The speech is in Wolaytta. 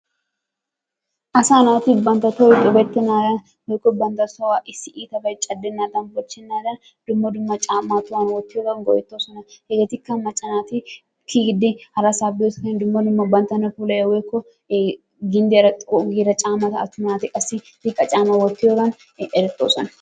Asa naati bantta tohoy tubbetenadan woykko bantta tohuwa issi iitabay caddenadan, bochchenaadan dumma dumma caamma tohuwan wottiyoogan go''ettoosna. hegetikka macca naati kiyyidi harassa biyo saatiyaan dumma dumma banttana puulayiyya woykko ginddiyaara xoqqu giida caammata attuma naati qassi ziqqa caamma wottiyogan erettoosona.